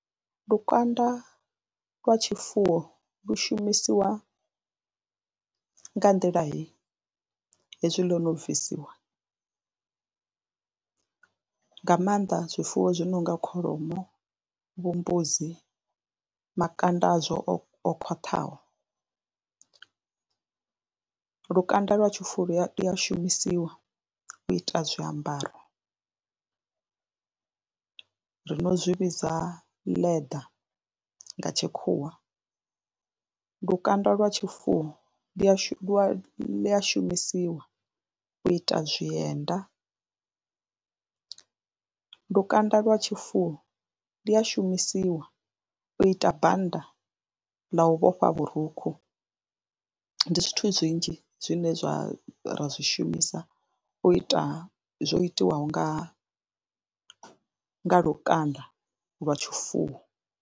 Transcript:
Lukanda lwa tshifuwo lu shumisiwa nga nḓila hei, hezwi ḽo no bvisiwa nga maanḓa zwifuwo zwi no nga kholomo, vho mbudzi, makanda azwo o khwaṱhaho, lukanda lwa tshifuwo lu ya shumisiwa u ita zwiambaro ri no zwi vhidza leather nga tshikhuwa. Lukanda lwa tshifuwo lu a shu, lu a shumisiwa u ita zwienda, lukanda lwa tshifuwo lu a shumisiwa u ita banda ḽa u vhofha vhurukhu. Ndi zwithu zwinzhi zwine zwa ra zwi shumisa u ita zwo itiwaho nga nga lukanda lwa tshifuwo.